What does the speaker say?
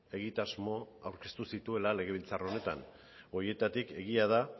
egitasmo aurkeztu zituela legebiltzar honetan horietatik egia da